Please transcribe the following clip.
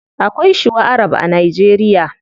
Akwai shuwa arab a nigeria